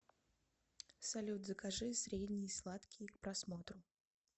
салют закажи средний сладкий к просмотру